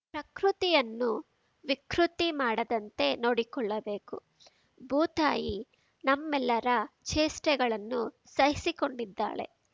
ಪ್ರಕೃತಿಯನ್ನು ವಿಕೃತಿ ಮಾಡದಂತೆ ನೋಡಿಕೊಳ್ಳಬೇಕು ಭೂತಾಯಿ ನಮ್ಮೆಲ್ಲರ ಚೇಷ್ಟೆಗಳನ್ನು ಸಹಿಸಿಕೊಂಡಿದ್ದಾಳೆ